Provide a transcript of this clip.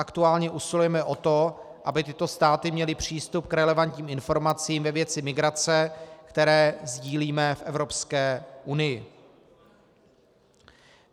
Aktuálně usilujeme o to, aby tyto státy měly přístup k relevantním informacím ve věci migrace, které sdílíme v Evropské unii.